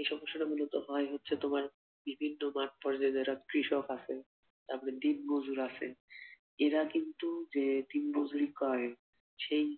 এই সমস্যাটা মূলত হয় হচ্ছে তোমার বিভিন্ন মাঠ পর্যায় যারা কৃষক আছে, তারপর দিনমজুর আছে, এরা কিন্তু যে দিন মুজরি করে সেই